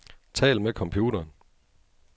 Tal med computeren.